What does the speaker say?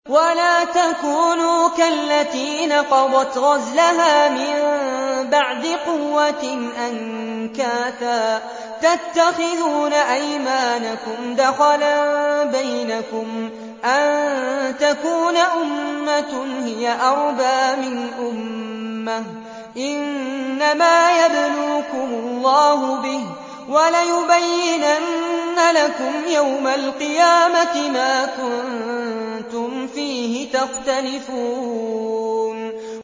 وَلَا تَكُونُوا كَالَّتِي نَقَضَتْ غَزْلَهَا مِن بَعْدِ قُوَّةٍ أَنكَاثًا تَتَّخِذُونَ أَيْمَانَكُمْ دَخَلًا بَيْنَكُمْ أَن تَكُونَ أُمَّةٌ هِيَ أَرْبَىٰ مِنْ أُمَّةٍ ۚ إِنَّمَا يَبْلُوكُمُ اللَّهُ بِهِ ۚ وَلَيُبَيِّنَنَّ لَكُمْ يَوْمَ الْقِيَامَةِ مَا كُنتُمْ فِيهِ تَخْتَلِفُونَ